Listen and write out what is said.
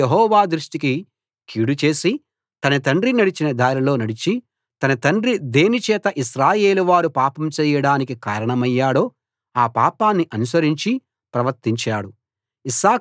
అతడు యెహోవా దృష్టికి కీడుచేసి తన తండ్రి నడిచిన దారిలో నడిచి తన తండ్రి దేని చేత ఇశ్రాయేలు వారు పాపం చేయడానికి కారణమయ్యాడో ఆ పాపాన్ని అనుసరించి ప్రవర్తించాడు